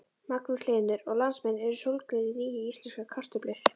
Magnús Hlynur: Og landsmenn eru sólgnir í nýjar íslenskar kartöflur?